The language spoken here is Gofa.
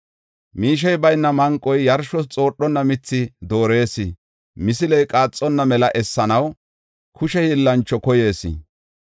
Miishey bayna manqoy, yarshos xoodhonna mithi doorees. Misiley qaaxonna mela essanaw kushe hiillancho koyees.